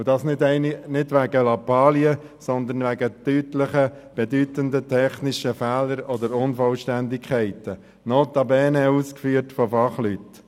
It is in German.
Dies nicht wegen Lappalien, sondern wegen deutlichen, bedeutenden technischen Fehlern oder Unvollständigkeiten, notabene ausgeführt von Fachleuten.